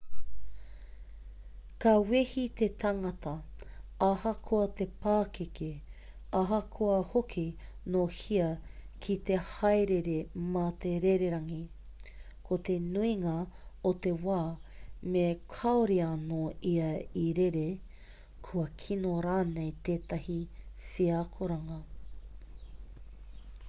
ka wehi te tangata ahakoa te pakeke ahakoa hoki nō hea ki te haerere mā te rererangi ko te nuinga o te wā me kaore anō ia i rere kua kino rānei tētahi wheakoranga